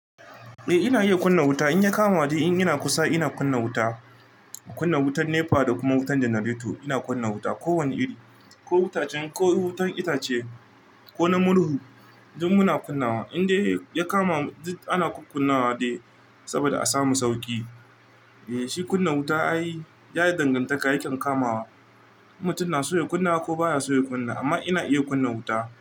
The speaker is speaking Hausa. Eh ina iya kunna wuta, in ya kama ni in ina kusa ina kunna wuta. Kunna wutan NEPA da kuma wutan Janareto ina kunna wuta. Ko wani iri ko itacen ko wutar itace ko na murhu duk muna kunnawa. In dai ya kama mu ana kukkunawa dai saboda a samu sauki. Eh shi kunna wuta ayi ya yi dangantaka ya yake kamawa. Mutum na so kunna ko baya sobya kunna amma ina iya kunna wuta.